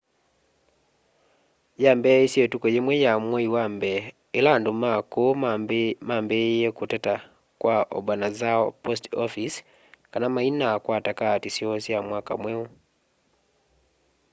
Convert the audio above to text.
yambiisye ituku yimwe ya mwai wa mbee ila andu ma kuu mambiiiye kuteta kwa obanazawa post office kana mainakwata kaati syoo sya mwaka mweu